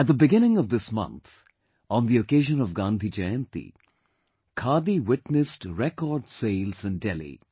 At the beginning of this month, on the occasion of Gandhi Jayanti, Khadi witnessed record sales in Delhi